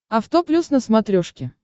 авто плюс на смотрешке